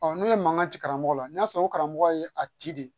n'u ye mankan ci karamɔgɔ la n'a sɔrɔ karamɔgɔ ye a ci de